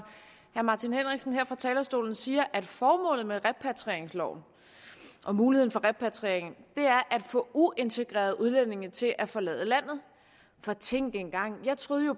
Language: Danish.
herre martin henriksen her fra talerstolen siger at formålet med repatrieringsloven og muligheden med repatriering er at få uintegrerede udlændinge til at forlade landet tænk engang jeg troede jo